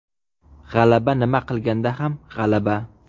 G‘alaba nima qilganda ham g‘alaba.